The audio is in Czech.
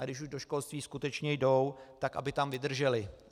A když už do školství skutečně jdou, tak aby tam vydrželi.